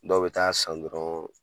Dɔw bɛ taa san dɔrɔn